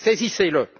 Mais saisissez le!